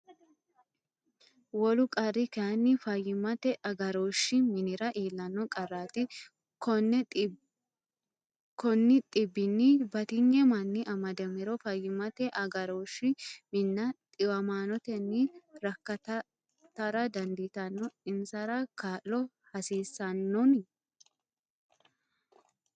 Wolu qarri kayinni, fayyimmate agarooshshi minnara iillanno qarraati Konni dhibbinni batinyu manni amadamiro fayyimmate agarooshshi minna dhiwamaanotenni rakkatantara dandiitanno Insara kaa’lo haasisannoni?